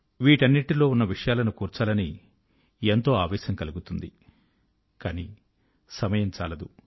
వీటన్నిటి లో ఉన్న విషయాలను కూర్చాలని ఎంతో ఆవేశం కలుగుతుంది కానీ సమయం చాలదు